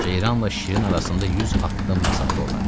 Ceyranla şirin arasında 100 addım məsafə olardı.